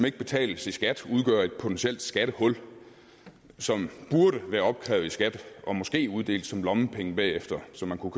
ikke betales i skat udgør et potentielt skattehul som burde være opkrævet i skat og måske uddelt som lommepenge bagefter så man kunne